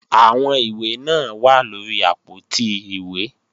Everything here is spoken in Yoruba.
Àwọn ìwé náà wà lóri àpótí ìwé